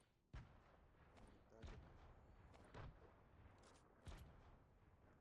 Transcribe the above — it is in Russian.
металлика